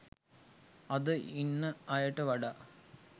අද ඉන්න අයට වඩා